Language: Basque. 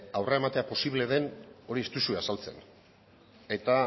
aurrera eramatea posible den hori ez duzue azaltzen eta